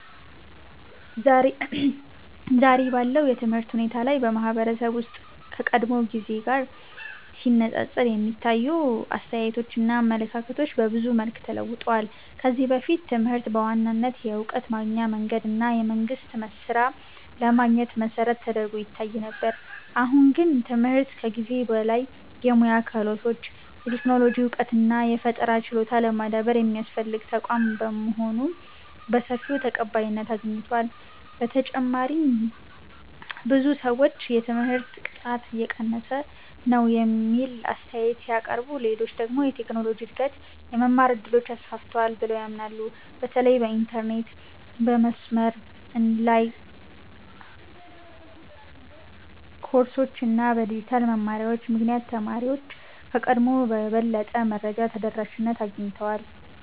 ዛሬ ባለው የትምህርት ሁኔታ ላይ በማህበረሰብ ውስጥ ከቀድሞው ጊዜ ጋር ሲነፃፀር የሚታዩ አስተያየቶችና አመለካከቶች በብዙ መልኩ ተለውጠዋል። ከዚህ በፊት ትምህርት በዋናነት የእውቀት ማግኛ መንገድ እና የመንግስት ሥራ ለማግኘት መሠረት ተደርጎ ይታይ ነበር። አሁን ግን ትምህርት ከዚህ በላይ የሙያ ክህሎት፣ የቴክኖሎጂ እውቀት እና የፈጠራ ችሎታ ለማዳበር የሚያስፈልግ ተቋም መሆኑ በሰፊው ተቀባይነት አግኝቷል። በተጨማሪም ብዙ ሰዎች የትምህርት ጥራት እየቀነሰ ነው የሚል አስተያየት ሲያቀርቡ፣ ሌሎች ደግሞ የቴክኖሎጂ እድገት የመማር እድሎችን አስፋፍቷል ብለው ያምናሉ። በተለይ በኢንተርኔት፣ በመስመር ላይ ኮርሶች እና በዲጂታል መማሪያዎች ምክንያት ተማሪዎች ከቀድሞው የበለጠ የመረጃ ተደራሽነት አግኝተዋል።